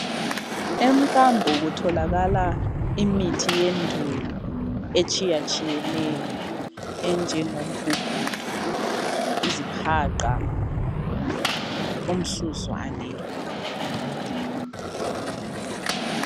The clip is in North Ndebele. Emkambo kutholakala imithi yendulo etshiyatshiyeneyo enjengo mgugudo, izihaqa ,umsuzwane.